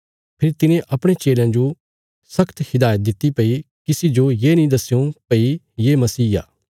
फेरी तिने अपणे चेलयां जो शख्त हिदायत दित्ति भई किसी जो येनी दस्यों भई हऊँ मसीह आ